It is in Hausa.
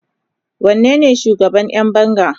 wanene shugaban Yan banga?